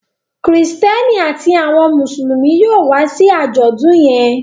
Kristẹni àti àwọn Mùsùlùmí yóò wá sí ajọdun yén